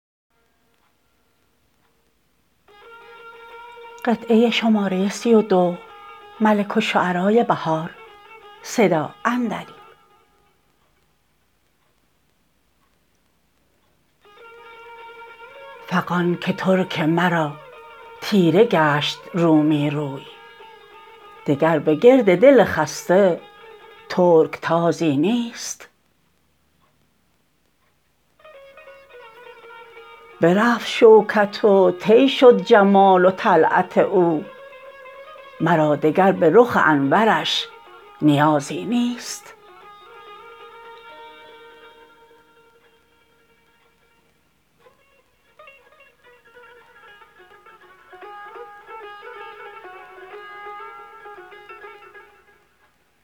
فغان که ترک مرا تیره گشت رومی روی دگر به گرد دل خسته ترکتازی نیست برفت شوکت و طی شد جمال و طلعت او مرا دگر به رخ انورش نیازی نیست